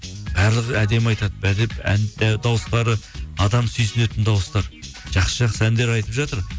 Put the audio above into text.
барлығы әдемі айтады дауыстары адам сүйсінетін дауыстар жақсы жақсы әндер айтып жатыр